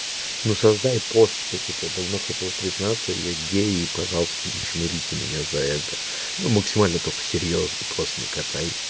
ну создай пост что типа я давно хотел признаться я гей и пожалуйста не чмырите меня за это ну максимально только серьёзный пост накатай